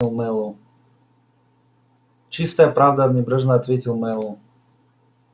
чистая правда небрежно ответил мэллоу